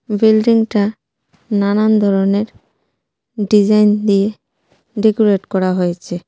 বিল্ডিংটা নানান ধরনের ডিজাইন দিয়ে ডেকোরেট করা হয়েছে.